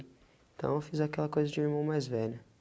Então eu fiz aquela coisa de irmão mais velho.